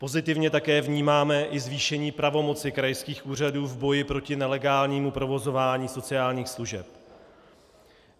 Pozitivně také vnímáme i zvýšení pravomoci krajských úřadů v boji proti nelegálnímu provozování sociálních služeb.